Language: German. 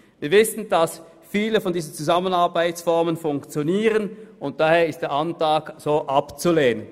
Wir wissen, dass viele ihrer Zusammenarbeitsformen funktionieren, und daher ist dieser Antrag abzulehnen.